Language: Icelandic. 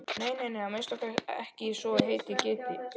Nei, nei, að minnsta kosti ekki svo heitið gæti.